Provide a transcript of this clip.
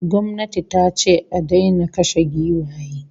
Gwamnati tace a daina kashe giwaye